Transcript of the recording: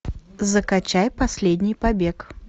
закачай последний побег